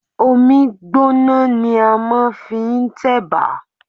Omí gbọ́na ni a máà ń fi n tẹ̀bà.